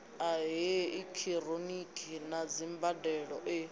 ha eekihironiki na dzimbandelo e